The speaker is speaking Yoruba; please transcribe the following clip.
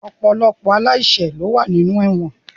Ọ̀pọ̀lọpọ̀ aláìṣẹ̀ ló wà ní inú ẹ̀wọ̀n